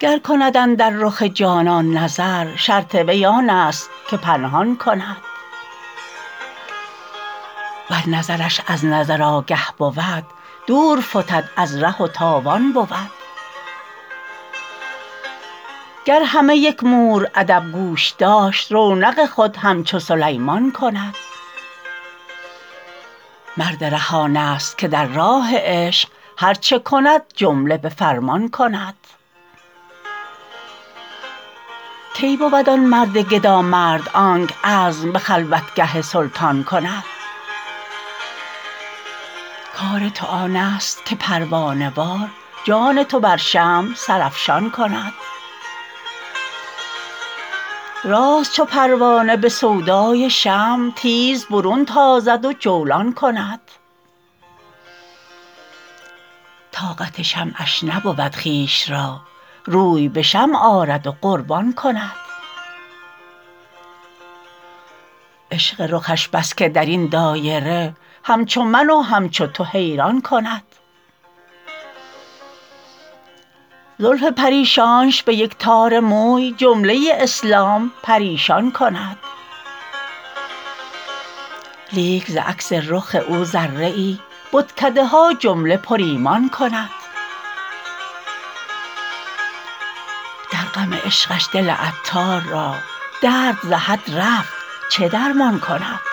گر کند اندر رخ جانان نظر شرط وی آن است که پنهان کند ور نظرش از نظر آگه بود دور فتد از ره و تاوان کند گر همه یک مور ادب گوش داشت رونق خود همچو سلیمان کند مرد ره آن است که در راه عشق هرچه کند جمله به فرمان کند کی بود آن مرد گدا مرد آنک عزم به خلوتگه سلطان کند کار تو آن است که پروانه وار جان تو بر شمع سرافشان کند راست چو پروانه به سودای شمع تیز برون تازد و جولان کند طاقت شمعش نبود خویش را روی به شمع آرد و قربان کند عشق رخش بس که درین دایره همچو من و همچو تو حیران کند زلف پریشانش به یک تار موی جمله اسلام پریشان کند لیک ز عکس رخ او ذره ای بتکده ها جمله پر ایمان کند در غم عشقش دل عطار را درد ز حد رفت چه درمان کند